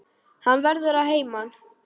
Hann verður að heiman.